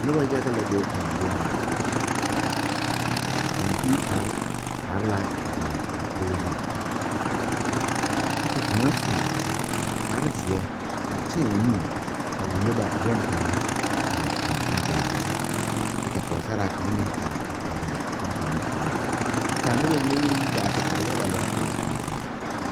Nobɔ yaga la be a zie ŋa kɔmpiutarre are la a ba dakoge zu kyɛ kavkaŋa su kparezeɛ a tēɛ o nu a wullo ba bonkaŋa aa kɔmpiuta zu kyɛ ka pɔɔsaraa kaŋa meŋ are a pɛgle bonkaŋa o nu poɔ kyɛ kaa nobɔ mine meŋ yi gaa te are yaga lɛ a ba puoriŋ.